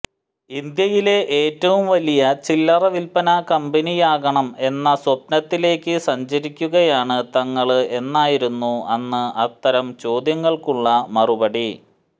ഇന്ത്യയിലെ ഏറ്റവും വലിയ ചില്ലറ വിൽപ്പനാ കമ്പനിയാകണം എന്ന സ്വപ്നത്തിലേക്ക് സഞ്ചരിക്കുകയാണ് തങ്ങള് എന്നായിരുന്നു അന്ന് അത്തരം ചോദ്യങ്ങള്ക്കുള്ള മറുപടി